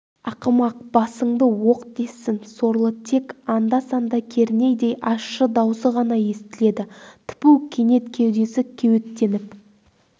ақымақ басыңды оқ тессін сорлы тек анда-санда кернейдей ащы даусы ғана естіледі тіпу кенет кеудесі кеуектеніп